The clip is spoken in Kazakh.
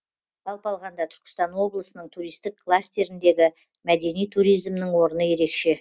жалпы алғанда түркістан облысының туристік кластеріндегі мәдени туризмнің орны ерекше